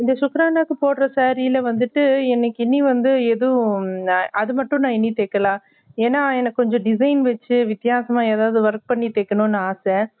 இந்த சுக்ரானாகு போடுற saree ல வந்துட்டு எனக்கு இனி வந்து ஏதும் அது மட்டும் நான் இன்னும் தெக்கலா ஏன்ன எனக்கு கொஞ்சம் design வச்சு வித்தியாசமா எதாவது work வச்சு தெக்கணும் ஆச